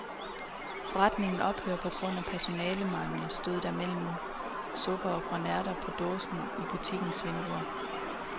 Forretningen ophører på grund af personalemangel, stod der mellem supper og grønærter på dåse i butikkens vindue.